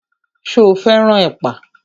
Ṣo fẹ́ràn ẹ̀pà?